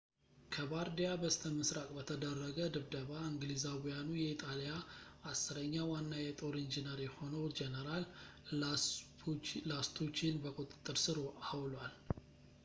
ከባርዲያ በስተምሥራቅ በተደረገ ድብደባ እንግሊዛዊያኑ የኢጣሊያ አሥረኛ ዋና የጦር ኢንጂነር የሆነውን ጄኔራል ላስቱቺን በቁጥጥር ሥር አውሏል